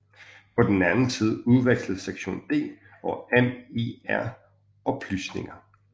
På den anden side udvekslede Section D og MI R oplysninger